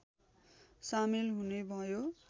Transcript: सामेल हुने भयो